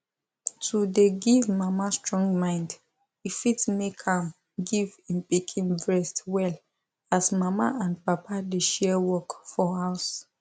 to dey give mama strong mind e fit make am give im pikin breast well as mama and papa dey share work for house